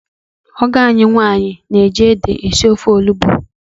Ọgọ ànyị nwaanyị na-eji ede esi ofe olugbu.